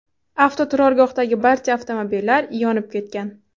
Avtoturargohdagi barcha avtomobillar yonib ketgan.